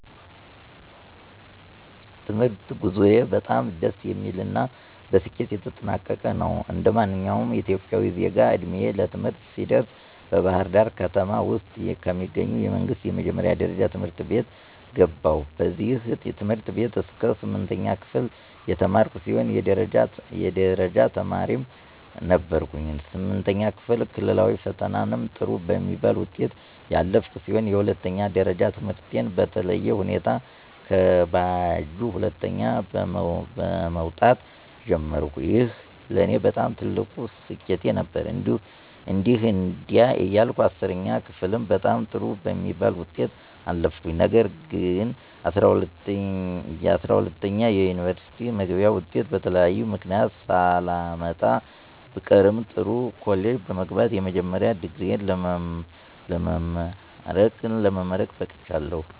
የትምህርት ጉዞዬ በጣም ደስ የሚል እና በስኬት የተጠናቀቀ ነው። እንደማንኛውም ኢትዮጵያዊ ዜጋ ዕድሜዬ ለትምህርት ሲደርስ በባህርዳር ከተማ ውስጥ ከሚገኙ የመንግስት የመጀመሪያ ደረጃ ትምህርት ቤት ገባሁኝ። በዚህ ትምህርት ቤት እስከ ስምንተኛ ክፍል የተማርኩ ሲሆን የደረጃ ተማሪም ነበርኩኝ። ስምንተኛ ክፍል ክልላዊ ፈተናም ጥሩ በሚባል ውጤት ያለፍኩ ሲሆን የሁለተኛ ደረጃ ትምህርቴን በተለየ ሁኔታ ከባጁ ሁለተኛ በመወጣት ጀመርኩኝ። ይህ ለኔ በጣም ትልቅ ስኬት ነበር። እንዲህ እንዲያ እያልኩ 10ኛ ክፍልም በጣም ጥሩ በሚባል ውጤት አለፍኩኝ። ነገር ግንጰ12ኛ የዩኒቨርስቲ መግቢያ ወጤት በተለያየ ምክንያት ሳላመጣ ብቀርም ጥሩ ኮሌጅ በመግባት የመጀመሪያ ዲግሪየ ለመማረክ በቅቻለሁ።